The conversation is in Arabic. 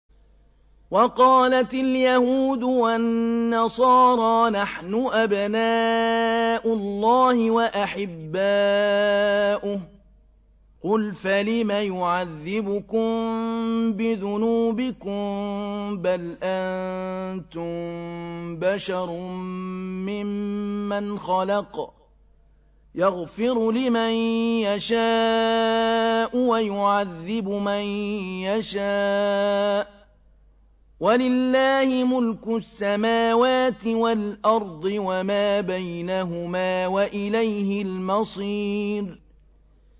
وَقَالَتِ الْيَهُودُ وَالنَّصَارَىٰ نَحْنُ أَبْنَاءُ اللَّهِ وَأَحِبَّاؤُهُ ۚ قُلْ فَلِمَ يُعَذِّبُكُم بِذُنُوبِكُم ۖ بَلْ أَنتُم بَشَرٌ مِّمَّنْ خَلَقَ ۚ يَغْفِرُ لِمَن يَشَاءُ وَيُعَذِّبُ مَن يَشَاءُ ۚ وَلِلَّهِ مُلْكُ السَّمَاوَاتِ وَالْأَرْضِ وَمَا بَيْنَهُمَا ۖ وَإِلَيْهِ الْمَصِيرُ